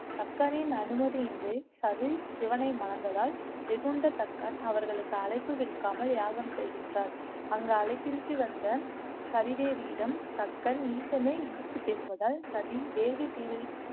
தக்கனின் அனுமதியின்றி சதி சிவனை மணந்ததால் வெகுண்டத்தக்கான் அவர்களுக்கு அழைப்பு விடுக்காமல் யாகம் செய்கின்றார் அங்கு அழைப்பின்றி வந்த சதிதேவியிடம் தக்கன் ஈசனை இழித்து பேசுவதால் சதி வேள்வி